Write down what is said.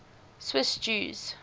swiss jews